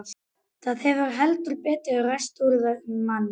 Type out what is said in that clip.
Það hefur heldur betur ræst úr þeim manni!